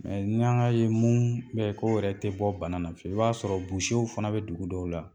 ni an ga ye mun mɛ ko yɛrɛ tɛ bɔ bana fewu, i b'a sɔrɔ fana bɛ dugu dɔw la